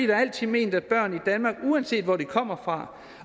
har altid ment at børn i danmark uanset hvor de kommer fra